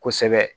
Kosɛbɛ